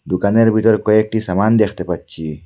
দুকানের ভিতর কয়েকটি সামান দেখতে পাচ্চি।